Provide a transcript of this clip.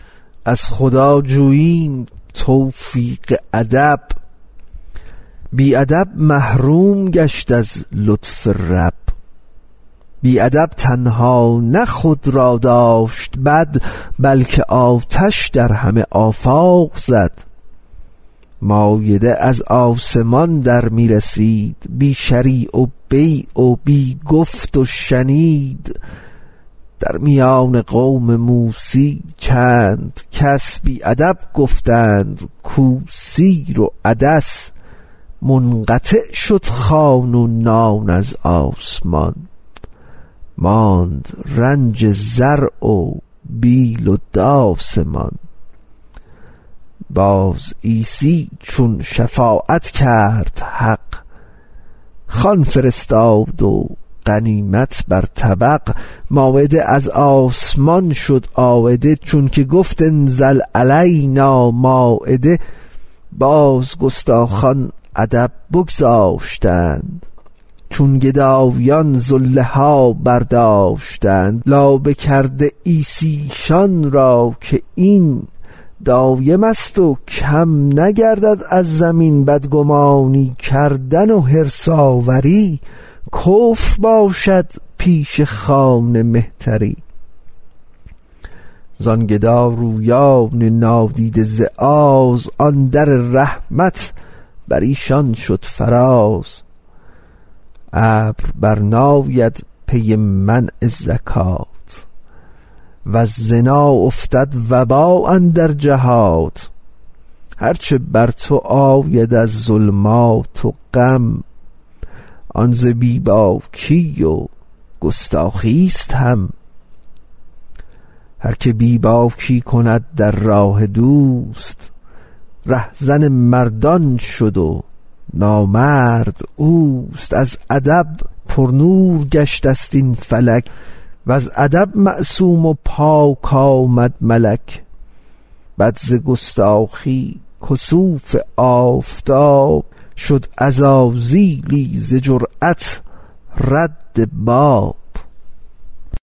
از خدا جوییم توفیق ادب بی ادب محروم گشت از لطف رب بی ادب تنها نه خود را داشت بد بلکه آتش در همه آفاق زد مایده از آسمان در می رسید بی شری و بیع و بی گفت و شنید در میان قوم موسی چند کس بی ادب گفتند کو سیر و عدس منقطع شد خوان و نان از آسمان ماند رنج زرع و بیل و داس مان باز عیسی چون شفاعت کرد حق خوان فرستاد و غنیمت بر طبق مایده از آسمان شد عایده چون که گفت انزل علینا مایده باز گستاخان ادب بگذاشتند چون گدایان زله ها برداشتند لابه کرده عیسی ایشان را که این دایمست و کم نگردد از زمین بدگمانی کردن و حرص آوری کفر باشد پیش خوان مهتری زان گدارویان نادیده ز آز آن در رحمت بریشان شد فراز ابر بر ناید پی منع زکات وز زنا افتد وبا اندر جهات هر چه بر تو آید از ظلمات و غم آن ز بی باکی و گستاخیست هم هر که بی باکی کند در راه دوست ره زن مردان شد و نامرد اوست از ادب پرنور گشته ست این فلک وز ادب معصوم و پاک آمد ملک بد ز گستاخی کسوف آفتاب شد عزازیلی ز جرات رد باب